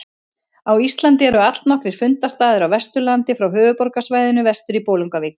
Á Íslandi eru allnokkrir fundarstaðir á Vesturlandi frá höfuðborgarsvæðinu vestur í Bolungarvík.